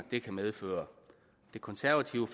det kan medføre det konservative